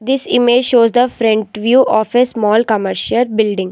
This image show the front view of a small commercial building.